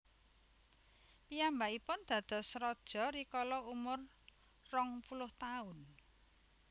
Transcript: Piyambakipun dados raja rikala umur rong puluh taun